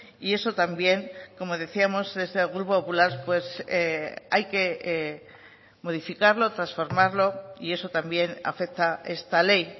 y eso también como decíamos desde el grupo popular hay que modificarlo transformarlo y eso también afecta esta ley